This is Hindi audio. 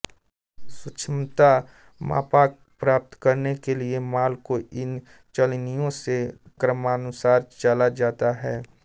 सूक्ष्मता मापांक प्राप्त करने के लिए माल को इन चलनियों से क्रमानुसार चला जाता है